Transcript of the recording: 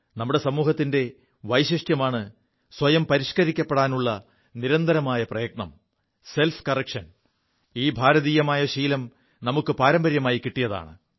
നമ്മുടെ സമൂഹത്തിന്റെ വൈശിഷ്ട്യമാണ് സ്വയം പരിഷ്കരിക്കപ്പെടാനുള്ള നിരന്തരമായ പ്രയത്നം സെൽഫ് കറക്ഷൻ ഈ ഭാരതീയമായ ശീലം നമുക്കു പാരമ്പര്യമായി കിിയതാണ്